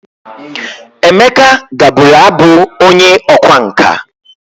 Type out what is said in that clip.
Emeka gaburu Abu onye okwa nka.